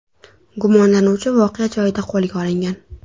Gumonlanuvchi voqea joyida qo‘lga olingan.